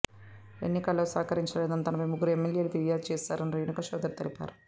ఎన్నికల్లో సహకరించలేదని తనపై ముగ్గురు ఎమ్మెల్యేలు ఫిర్యాదు చేశారని రేణుకా చౌదరి తెలిపారు